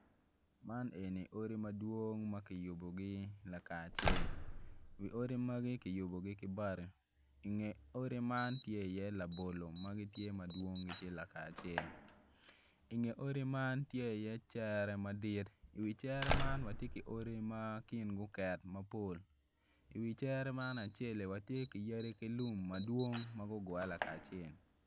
Man eni odi madwong ma kiyubogi lakacel wi odi magi kiyubogi ki bati inge odi man tye iye labolo ma gittye madwong lakacel inge odi man tye iye cere madit iwi cere man watye ki odi ma kingi oket mapol iwi cere man aceli watye ki yadi ki lum madwong ma gugure lakacel.